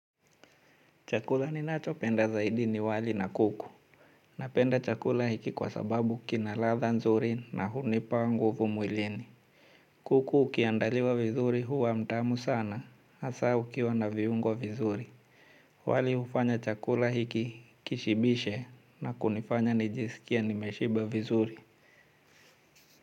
Chakula ninachopenda zaidi ni wali na kuku. Napenda chakula hiki kwa sababu kina ladha nzuri na hunipa nguvu mwilini. Kuku ukiandaliwa vizuri huwa mtamu sana, hasa ukiwa na viungo vizuri. Wali hufanya chakula hiki kishibishe, na kunifanya nijisikie nimeshiba vizuri.